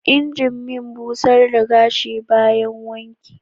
injimin busar da gashi bayan wanki.